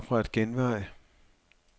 Opret genvej.